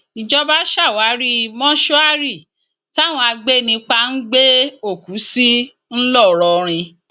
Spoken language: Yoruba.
ìjọba ṣàwárí mọṣúárì táwọn agbẹnipa ń gbé òkú sí ńlọrọrìn